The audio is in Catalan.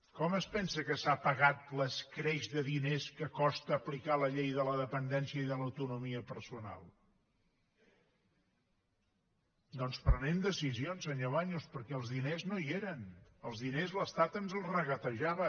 com es pensa que s’ha pagat l’escreix de diners que costa aplicar la llei de la dependència i de l’autonomia personal doncs prenent decisions senyor baños perquè els diners no hi eren els diners l’estat ens els regatejava